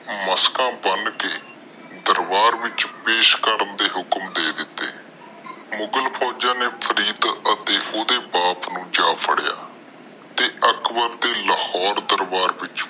ਮਸਕਾ ਬਨ ਕੇ ਦਰਬਾਰ ਵਿਚ ਪੇਸ਼ ਕਰਨ ਦੇ ਹੁਕਮ ਦੇ ਦਿਤੇ। ਮੁਗ਼ਲ ਫੋਜ਼ਾਂ ਨੇ ਫਰੀਦ ਅਤੇ ਓਹਦੇ ਬਾਪ ਨੂੰ ਜਾ ਫੜਿਆ ਤੇ ਅਕਬਰ ਦੇ ਲਾਹੌਰ ਦਰਬਾਰ ਵਿਚ